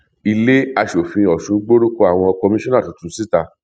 ilé aṣòfin ọsún gbórúkọ àwọn kọmíṣọnà tuntun síta